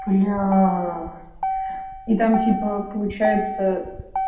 блядь и там типа получается